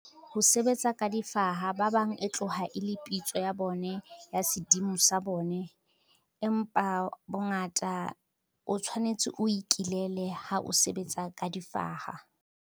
Ho sebetsa ka difaha ba bang e tloha e le pitso ya bone ya sedimo sa bone. Empa bongata o tshwanetse o ikilele ha o sebetsa ka difaha.